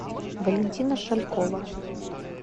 валентина шалькова